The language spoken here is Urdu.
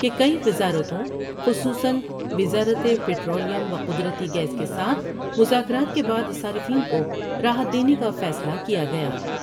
کہ کئی وزارتوں خصوصا وزارت پٹرولیم وقد رتی گیاس کے ساتھ مذاکرات کے بعد صارفین کو راحت دینے کا فیصلہ کیا گیا۔